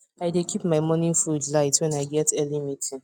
i dey keep my morning food light when i get early meeting